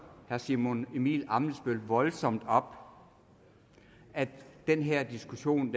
herre simon emil ammitzbøll voldsomt op at den her diskussion